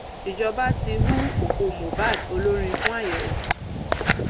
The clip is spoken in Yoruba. ìjọba ti hu òkú mohbad olórin fún àyẹwò